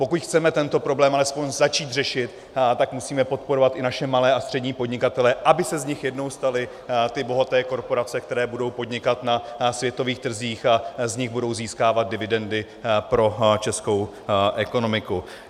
Pokud chceme tento problém alespoň začít řešit, tak musíme podporovat i naše malé a střední podnikatele, aby se z nich jednou staly ty bohaté korporace, které budou podnikat na světových trzích a z nich budou získávat dividendy pro českou ekonomiku.